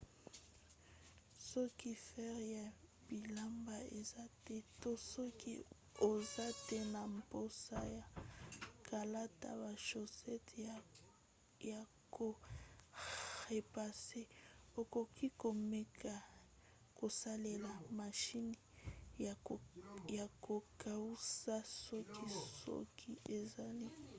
soki fer ya bilamba eza te to soki oza te na mposa ya kolata ba shosete ya ko repasse okoki komeka kosalela mashine ya kokausa suki soki ezali